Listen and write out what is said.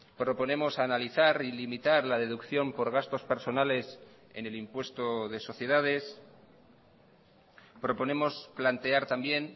proponemos analizar y limitar la deducción por gastos personales en el impuesto de sociedades proponemos plantear también